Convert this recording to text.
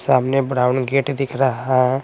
सामने brown gate दिख रहा है।